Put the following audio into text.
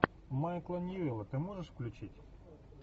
майкла ньюэлла ты можешь включить